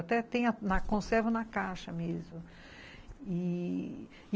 Até tenho conservo na caixa mesmo e